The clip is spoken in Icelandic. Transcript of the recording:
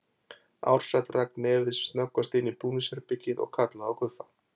Ársæll rak nefið sem snöggvast inn í búningsherbergið og kallaði á Guffa.